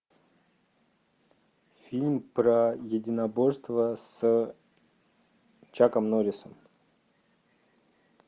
фильм про единоборства с чаком норрисом